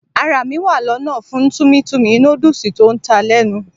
Ara mi wa lona fún Tummy Tummy noodles tó ní ta lenu.